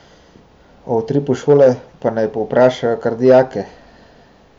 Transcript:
O utripu šole pa naj povprašajo kar dijake.